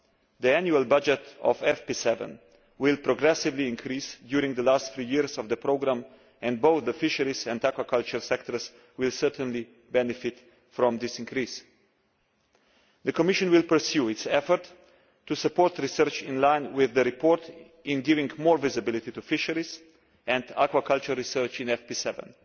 The annual budget for FP7 will progressively increase during the last three years of the programme and both the fisheries and aquaculture sectors will certainly benefit from this increase. The Commission will pursue its effort to support research in line with the report by giving more visibility to fisheries and aquaculture research in FP7,